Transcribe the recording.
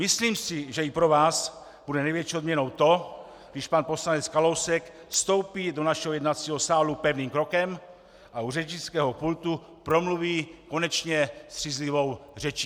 Myslím si, že i pro vás bude největší odměnou to, když pan poslanec Kalousek vstoupí do našeho jednacího sálu pevným krokem a u řečnického pultu promluví konečně střízlivou řečí.